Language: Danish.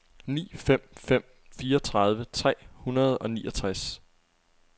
ni fem fem fem fireogtredive tre hundrede og niogtres